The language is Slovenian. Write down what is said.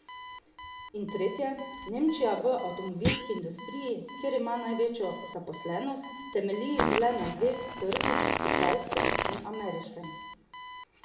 In tretje, Nemčija v avtomobilski industriji, kjer ima največjo zaposlenost, temelji le na dveh trgih, kitajskem in ameriškem.